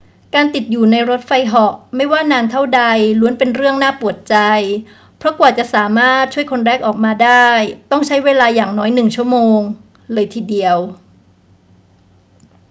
การติดอยู่ในรถไฟเหาะไม่ว่านานเท่าใดล้วนเป็นเรื่องน่าปวดใจ เพราะกว่าจะสามารถช่วยคนแรกออกมาได้ต้องใช้เวลาอย่างน้อยหนึ่งชั่วโมงเลยทีเดียว